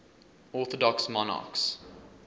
orthodox monarchs